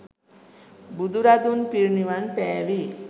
බුදුරදුන් පිරිනිවන් පෑවේ